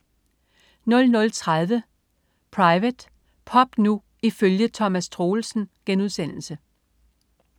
00.30 Private. Pop nu ifølge Thomas Troelsen*